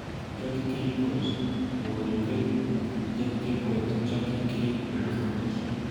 Jackie Kay poet nebo UK Jackykaypoet Jackie Kay nebo scottish